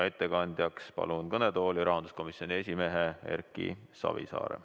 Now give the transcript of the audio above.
Ettekandjaks palun kõnetooli rahanduskomisjoni esimehe Erki Savisaare.